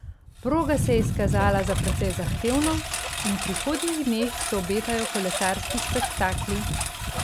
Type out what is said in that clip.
Proga se je izkazala za precej zahtevno in v prihodnjih dneh se obetajo kolesarski spektakli.